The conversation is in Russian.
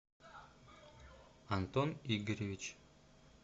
антон игоревич